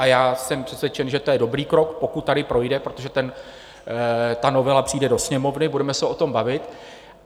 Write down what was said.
A já jsem přesvědčen, že to je dobrý krok, pokud tady projde, protože ta novela přijde do Sněmovny, budeme se o tom bavit.